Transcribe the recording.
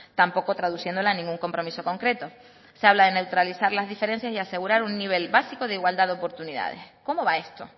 tampoco traduciéndola en ningún compromiso concreto se habla de neutralizar las diferencias y de asegurar un nivel básico de igualdad de oportunidades cómo va esto